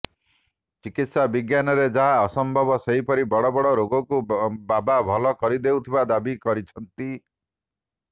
ଚିକିତ୍ସା ବିଜ୍ଞାନରେ ଯାହା ଅସମ୍ଭବ ସେପରି ବଡବଡ ରୋଗକୁ ବାବା ଭଲ କରିଦେଉଥିବା ଦାବି କରିଛନ୍ତି